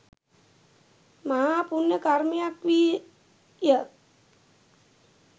මහා පුණ්‍ය කර්මයක් වී ය.